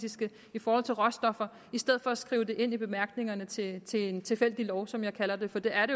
i forhold til råstoffer i stedet for at skrive det ind i bemærkningerne til til en tilfældig lov som jeg kalder den for det er